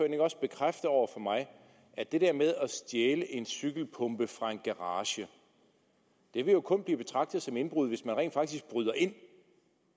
ikke også bekræfte over for mig at det der med at stjæle en cykelpumpe fra en garage jo kun vil blive betragtet som indbrud hvis man rent faktisk bryder ind det